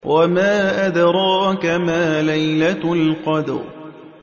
وَمَا أَدْرَاكَ مَا لَيْلَةُ الْقَدْرِ